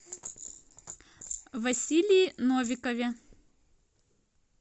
василии новикове